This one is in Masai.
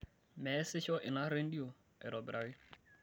meesisho ina rendio aitobiraki